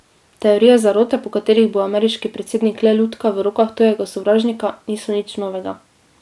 Teorije zarote, po katerih bo ameriški predsednik le lutka v rokah tujega sovražnika, niso nič novega.